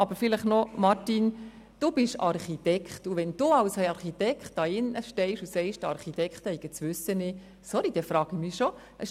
Martin Aeschlimann, Sie sind Architekt, und wenn Sie als Architekt hier drin stehen, und sagen, die Architekten hätten das Wissen nicht, sorry, dann stelle ich mir schon gewisse Fragen.